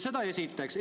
Seda esiteks.